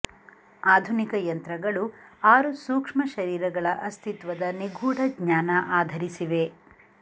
ಆಧುನಿಕ ಯಂತ್ರಗಳು ಆರು ಸೂಕ್ಷ್ಮ ಶರೀರಗಳ ಅಸ್ತಿತ್ವದ ನಿಗೂಢ ಜ್ಞಾನ ಆಧರಿಸಿವೆ